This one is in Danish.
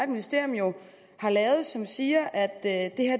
ministerium jo har lavet og som siger at at